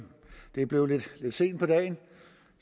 det er blevet lidt sent på dagen